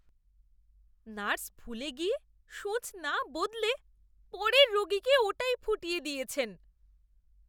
Nurse ভুলে গিয়ে সুঁচ না বদলে পরের রোগীকে ওটাই ফুটিয়ে দিয়েছেন।